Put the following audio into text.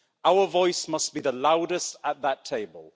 Our voices must be the loudest at that table.